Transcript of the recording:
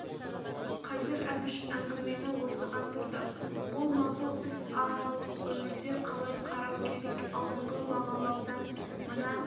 қазір әбіш әңгімені осыған бұрды ол мақұл іс ал өмірде қалай қарау керек алдыңғы бағалаудан мына